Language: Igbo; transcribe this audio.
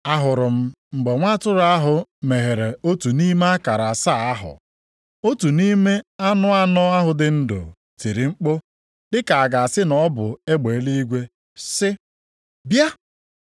Ahụrụ m mgbe Nwa atụrụ ahụ meghere otu nʼime akara asaa ahụ. Otu nʼime anụ anọ ahụ dị ndụ tiri mkpu dịka a ga-asị na ọ bụ egbe eluigwe sị, “Bịa!”